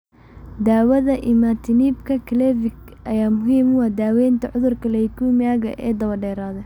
Daawada imatinib-ka (Gleevec) ayaa muhiim u ah daawaynta cudurka leukemia-ga ee dabadheeraada.